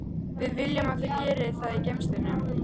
Við viljum að þau geri það í geymslunum.